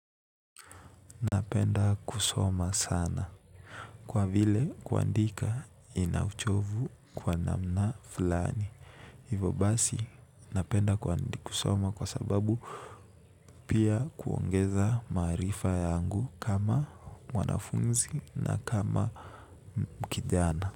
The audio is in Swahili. Napenda kusoma sana. Kwa vile kuandika ina uchovu kwa namna fulani. Hivyo basi napenda kusoma kwa sababu pia kuongeza maarifa yangu kama mwanafunzi na pia kama kijana.